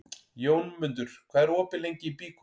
Jómundur, hvað er opið lengi í Byko?